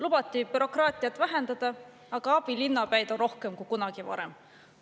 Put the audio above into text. Lubati bürokraatiat vähendada, aga abilinnapäid on rohkem kui kunagi varem.